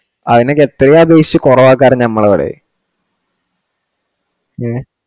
അയിന് കെട്ടുക ഉദ്ദേശിച്ചു കുറവാ കാരണം നമ്മളോട് ഹേ